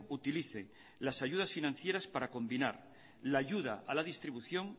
utilice las ayudas financieras para combinar la ayuda a la distribución